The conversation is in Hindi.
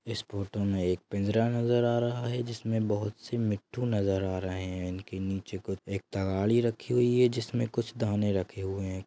इस फोटो मे एक पिंजरा नजर आ रहा है जिसमे बहुत से मिट्ठू नजर आ रहे हैं इनके नीचे एक तगाड़ी रखी हुई जिसमे कुछ दाने रखे हुए हैं।